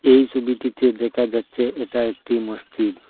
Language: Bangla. এই ছবিটিতে দেখা যাচ্ছে এটা একটি মসজিদ।